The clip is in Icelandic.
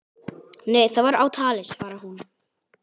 Nei það var á tali, svarar hún.